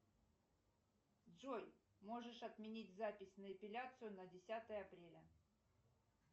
джой можешь отменить запись на эпиляцию на десятое апреля